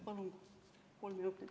Palun kolm minutit lisaks!